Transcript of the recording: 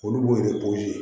Olu b'o de